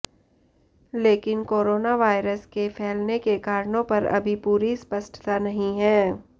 लेकिन कोरोनावायरस के फैलने के कारणों पर अभी पूरी स्पष्टता नहीं है